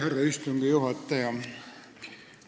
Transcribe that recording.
Härra istungi juhataja!